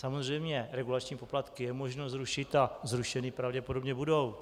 Samozřejmě regulační poplatky je možno zrušit a zrušeny pravděpodobně budou.